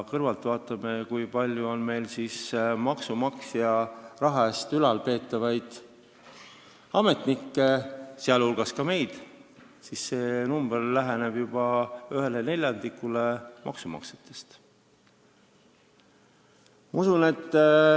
Kui me vaatame, kui palju on meil maksumaksja raha eest ülalpeetavaid ametnikke, sh oleme ka meie, siis see hulk läheneb juba ühele neljandikule maksumaksjate arvust.